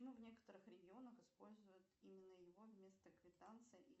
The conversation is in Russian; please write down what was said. в некоторых регионах используют именно его вместо квитанций